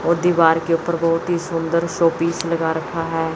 और दीवार के ऊपर बहुत ही सुंदर शो पीस लगा रखा है।